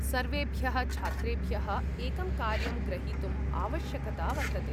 सर्वेभ्यः छात्रेभ्यः एकं कार्यं ग्रहीतुम् आवश्यकता वर्तते।